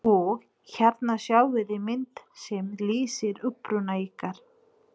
Og hérna sjáiði mynd sem lýsir uppruna ykkar.